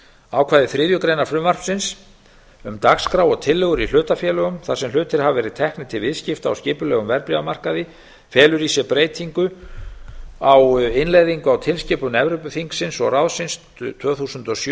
ákvæði þriðju greinar frumvarpsins um dagskrár og tillögur í hlutafélögum þar sem hlutir hafa verið teknir til viðskipta á skipulegum verðbréfamarkaði felur í sér breytingu á innleiðingu á tilskipun evrópuþingsins og ráðsins tvö þúsund og sjö